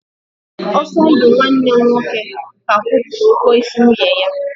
Osondu nwanne m nwoke ka kwụpụrụ ụgwọ isi nwunye ya.